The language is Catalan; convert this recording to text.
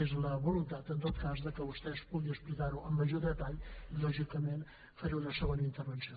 és la voluntat en tot cas que vostè pugui explicar ho amb major detall i lògicament faré una segona intervenció